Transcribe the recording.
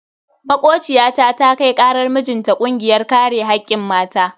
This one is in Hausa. Makociyata ta kai karar mijinta kungiyar kare hakkin mata.